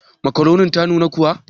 Makaronin ta nuna kuwa?